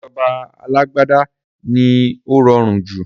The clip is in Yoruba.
Ìjọba alágbádá ni ó rọrùn jù